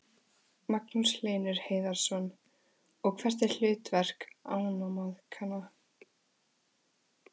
Magnús Hlynur Hreiðarsson: Og hvert er hlutverk ánamaðkanna?